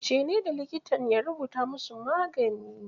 Ce ne da likitan ya rubuta mu su magani